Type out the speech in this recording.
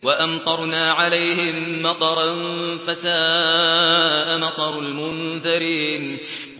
وَأَمْطَرْنَا عَلَيْهِم مَّطَرًا ۖ فَسَاءَ مَطَرُ الْمُنذَرِينَ